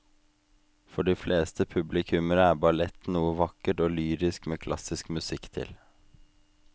For de fleste publikummere er ballett noe vakkert og lyrisk med klassisk musikk til.